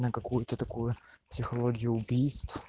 на какую-то такую технологию убийств